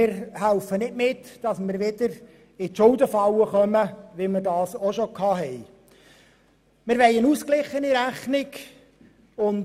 Wir wollen nicht dazu beitragen, dass wir wieder in die Schuldenfalle geraten, sondern wir wollen eine ausgeglichene Rechnung haben.